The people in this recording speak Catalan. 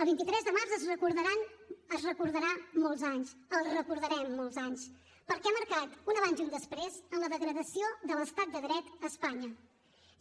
el vint tres de març es recordarà molts anys el recordarem molts anys perquè ha marcat un abans i un després en la degradació de l’estat de dret a espanya